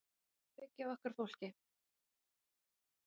Erum að byggja á okkar fólki